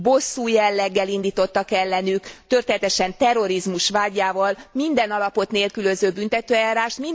Bosszú jelleggel indítottak ellenük, történetesen terrorizmus vádjával, minden alapot nélkülöző büntetőeljárást.